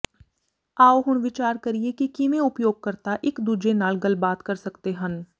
ਆਉ ਹੁਣ ਵਿਚਾਰ ਕਰੀਏ ਕਿ ਕਿਵੇਂ ਉਪਯੋਗਕਰਤਾ ਇੱਕ ਦੂਜੇ ਨਾਲ ਗੱਲਬਾਤ ਕਰ ਸਕਦੇ ਹਨ